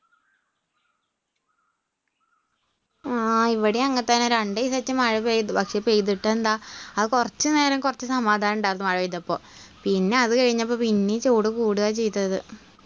ഹാ ഇവിടെ അങ്ങനെ തന്നെ രണ്ടു ദിവസമായിട്ട് മഴ പെയ്തു. പക്ഷേ പെയ്തിട്ടെന്താ ആ കുറച്ചുനേരം കുറച്ച് സമാധാനം ഉണ്ടായിരുന്നു മഴപെയ്തപ്പോ പിന്നെ അത് കഴിഞ്ഞപ്പോൾ പിന്നെയും ചൂട് കൂടുക ചെയ്തത്.